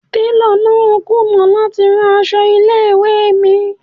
Télọ̀ náà kùnà láti rán aṣọ ilé ìwé mi.